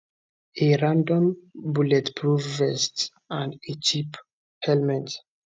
a random bulletproof vest and a cheap helmet